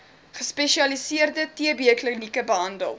gespesialiseerde tbklinieke behandel